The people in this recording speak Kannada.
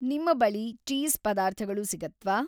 ನಿಮ್ಮ ಬಳಿ ಚೀಸ್‌ ಪದಾರ್ಥಗಳು ಸಿಗತ್ವಾ?